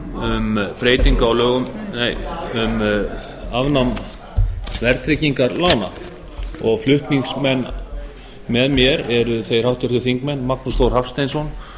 frú forseti ég flyt hér þingsályktun um afnám verðtrygginga lána flutningsmenn með mér eru háttvirtir þingmenn magnús þór hafsteinsson